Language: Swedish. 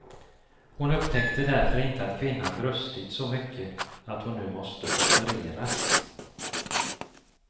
Hon upptäckte därför inte att kvinnan brustit så mycket att hon nu måste opereras.